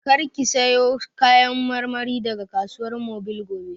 Kar ki sayo Kayan marmari daga Kasuwar Mobil gobe!